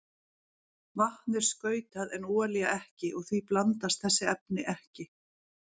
Vatn er skautað en olía ekki og því blandast þessi efni ekki.